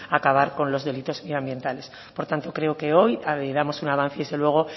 acabar con los delitos medioambientales por tanto creo que hoy damos un avance y desde luego